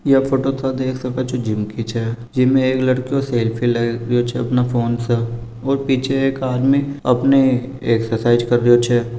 या फोटो ता देख सको छे जिम की छे जीम में एक लडको सेल्फी ले रियो छे अपने फ़ोन से और पीछे एक आदमी अपनी एक्ससाइज कर रियो छे।